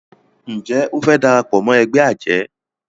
Njé o fe darapọ̀ mọ ègbé ajé?